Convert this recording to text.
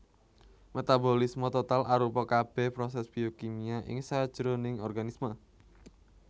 Metabolisme total arupa kabèh prosès biokimia ing sajroning organisme